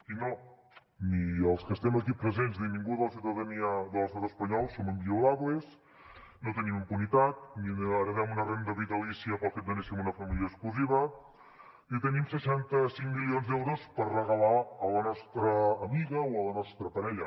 i no ni els que estem aquí presents ni ningú de la ciutadania de l’estat espanyol som inviolables no tenim impunitat ni heretem una renda vitalícia pel fet de néixer en una família exclusiva ni tenim seixanta cinc milions d’euros per regalar a la nostra amiga o a la nostra parella